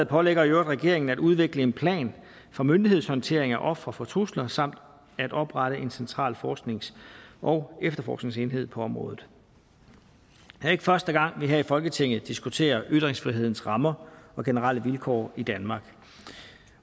pålægger i øvrigt regeringen at udvikle en plan for myndighedshåndtering af ofre for trusler samt at oprette en central forsknings og efterforskningsenhed på området det er ikke første gang at vi her i folketinget diskuterer ytringsfrihedens rammer og generelle vilkår i danmark